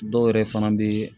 Dɔw yɛrɛ fana bɛ